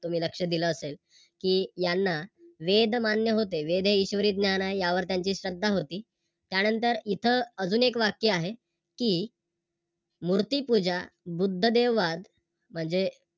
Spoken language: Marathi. तुम्ही लक्ष दिल असेल की यांना वेद मान्य होते वेद हे ईश्वरी ज्ञान आहे यावर त्यांची श्रद्धा होती त्यानंतर इथं अजून एक वाक्य आहे कि मूर्तिपूजा, बुद्धदेववाद म्हणजे